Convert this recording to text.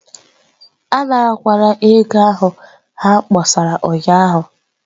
Anarakwala ego ahụ ha kpọsara ụnyahụ.